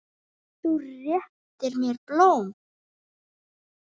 Þú réttir mér blóm.